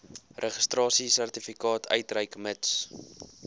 registrasiesertifikaat uitreik mits